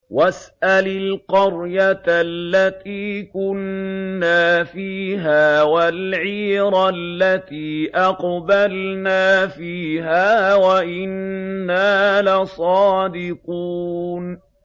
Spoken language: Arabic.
وَاسْأَلِ الْقَرْيَةَ الَّتِي كُنَّا فِيهَا وَالْعِيرَ الَّتِي أَقْبَلْنَا فِيهَا ۖ وَإِنَّا لَصَادِقُونَ